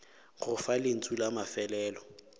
go fa lentšu la mafelelo